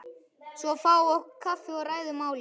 Svo fáum við okkur kaffi og ræðum málin.